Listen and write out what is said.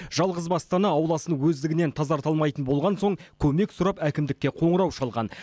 жалғызбасты ана ауласын өздігінен тазарта алмайтын болған соң көмек сұрап әкімдікке қоңырау шалған